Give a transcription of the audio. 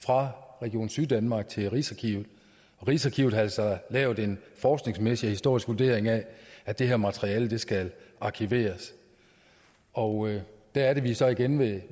fra region syddanmark til rigsarkivet rigsarkivet har altså lavet en forskningsmæssig og historisk vurdering af at det her materiale skal arkiveres og der er vi så igen ved